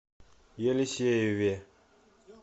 елисееве